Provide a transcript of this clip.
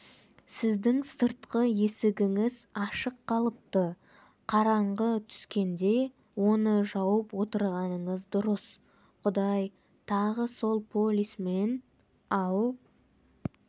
сіздің сыртқы есігіңіз ашық қалыпты қараңғы түскенде оны жауып отырғаныңыз дұрыс құдай тағы сол полисмен ал